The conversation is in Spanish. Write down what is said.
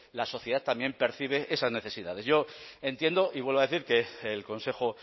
la sociedad también percibe esas necesidades yo entiendo y vuelvo a decir que el consejo